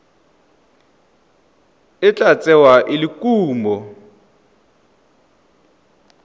tla tsewa e le kumo